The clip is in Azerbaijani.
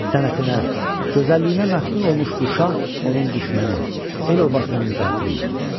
Sənətinə, gözəlliyinə məftun olmuş bu şah onun düşməni, el obasının qatili idi.